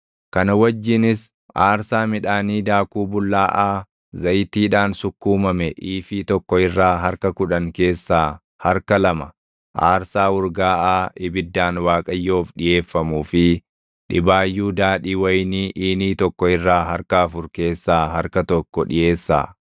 kana wajjinis aarsaa midhaanii daakuu bullaaʼaa zayitiidhaan sukkuumame iifii + 23:13 Iifiin tokko liitirii 22. tokko irraa harka kudhan keessaa harka lama aarsaa urgaaʼaa ibiddaan Waaqayyoof dhiʼeeffamuu fi dhibaayyuu daadhii wayinii iinii + 23:13 Iiniin tokko liitirii 4. tokko irraa harka afur keessaa harka tokko dhiʼeessaa.